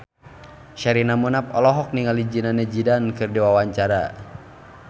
Sherina Munaf olohok ningali Zidane Zidane keur diwawancara